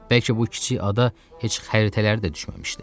Bəlkə bu kiçik ada heç xəritələrdə də düşməmişdi.